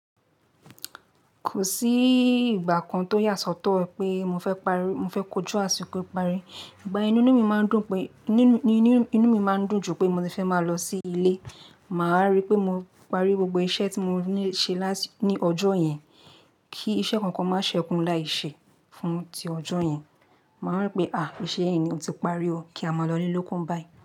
Kò sí ìgbà kan tó yà sọ́tọ̀ pé mo fẹ́ kojú àsìkò ìparí. Ìgbà yẹn ni inú mi máa ń dùn ju pé mo ti fẹ́ máa lọ sí ilé, màá rí pé mo parí gbogbo iṣẹ́ tí mo ní ṣe ní ọjọ́ yẹn kí iṣẹ́ kankan má ṣe kú láì ṣe fún ti ọjọ́ yẹn. Màá rántí pé, àáà, iṣẹ́ yẹn ni mo ti parí ó kí a máa lọ íle lóku báyìí.